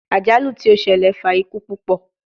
Ajalu ti o ṣẹlẹ fa iku pupọ